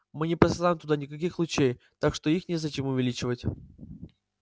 мы не посылаем туда никаких лучей так что их незачем увеличивать